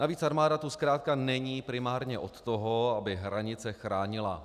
Navíc armáda tu zkrátka není primárně od toho, aby hranice chránila.